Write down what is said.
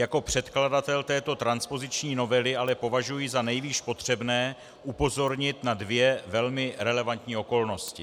Jako předkladatel této transpoziční novely ale považuji za nejvýš potřebné upozornit na dvě velmi relevantní okolnosti.